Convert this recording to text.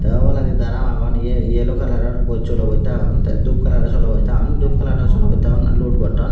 tey obladi daraam agon ye yelo kalaror bos solobotta agon tey dup kalaror solobotta agon dup kalarow solobattagun lod gotton.